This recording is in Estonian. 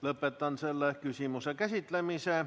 Lõpetan selle küsimuse käsitlemise.